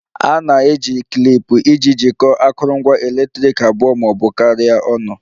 A na-eji klip iji jikọọ akụrụngwa eletriki abụọ ma ọ bụ karịa ọnụ